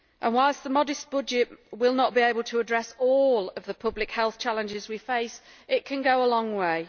Whilst the modest budget will not be able to address all of the public health challenges we face, it can go a long way.